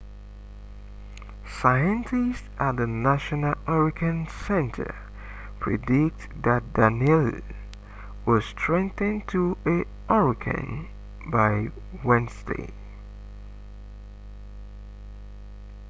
scientists at the national hurricane center predict that danielle will strengthen to a hurricane by wednesday